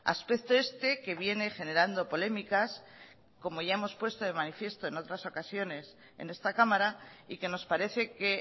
aspecto este que viene generando polémicas como ya hemos puesto de manifiesto en otras ocasiones en esta cámara y que nos parece que